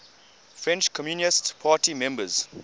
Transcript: french communist party members